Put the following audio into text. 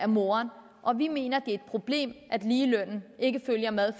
moren og vi mener det er et problem at ligelønnen ikke følger med og